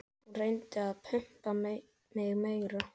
Hún reyndi að pumpa mig meira.